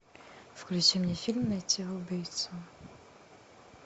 включи мне фильм найти убийцу